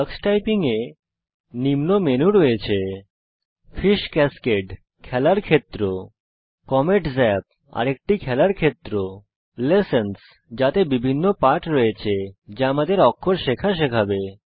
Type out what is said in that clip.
tax typing এ নিম্ন menu রয়েছে ফিশ ক্যাসকেড - খেলার ক্ষেত্র কমেট জাপ - আরেকটি খেলার ক্ষেত্র লেসনস - যাতে বিভিন্ন পাঠ রয়েছে যা আমাদের অক্ষর শেখা শেখাবে